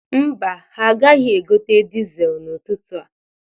Mba, ha agaghị egote dizel n'ụtụtụ a.